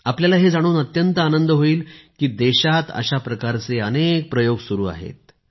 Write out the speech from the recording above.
आपल्याला हे जाणून अत्यंत आनंद होईल की देशात अशाप्रकारचे अनेक प्रयोग सुरु आहेत